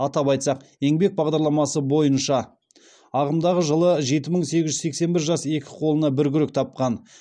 атап айтсақ еңбек бағдарламасы бойынша ағымдағы жылы жеті мың сегіз жүз сексен бір жас екі қолына бір күрек тапқан